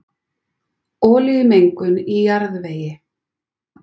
Olíumengun í jarðvegi